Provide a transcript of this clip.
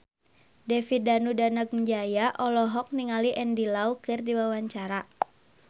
David Danu Danangjaya olohok ningali Andy Lau keur diwawancara